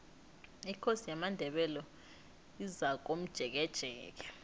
ikosi yamandebele izakomjekejeke